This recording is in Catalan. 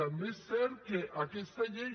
també és cert que aquesta llei